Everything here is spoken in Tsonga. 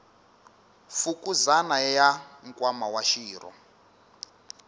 fukuzana ya nkwama wa xirho